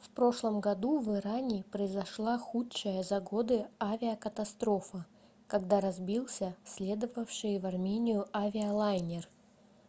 в прошлом году в иране произошла худшая за годы авиакатастрофа когда разбился следовавший в армению авиалайнер